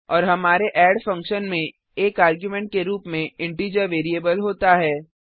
और हमारे add function में एक आर्गुमेंट के रूप में इंटीजर वैरिएबल होता है